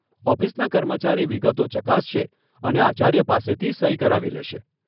ઓફિસના કર્મચારી વિગતો ચકાસશે અને આચાર્ય પાસેથી સહી કરાવી લેશે.